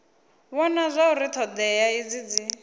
vhona zwauri thodea idzi dzi